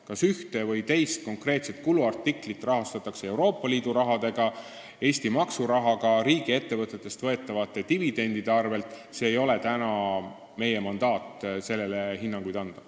Kas ühte või teist konkreetset kuluartiklit rahastatakse Euroopa Liidu rahaga, Eesti maksurahaga või riigiettevõtetest võetavate dividendide abil – meil ei ole mandaati, et sellele hinnanguid anda.